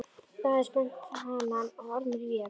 Daði spennti hanann og Ormur vék.